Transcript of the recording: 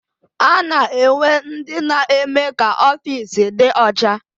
A na-enwe ndị na-eme ka ofiisi dị ọcha.